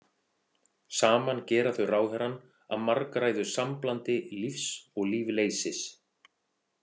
Saman gera þau ráðherrann að margræðu samblandi lífs og lífleysis.